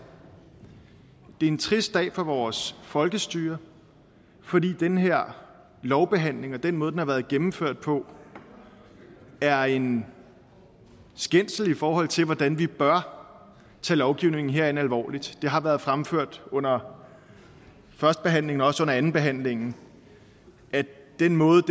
det er en trist dag for vores folkestyre fordi den her lovbehandling og den måde den har været gennemført på er en skændsel i forhold til hvordan vi herinde bør tage lovgivningen alvorligt det har været fremført under førstebehandlingen og også under andenbehandlingen at den måde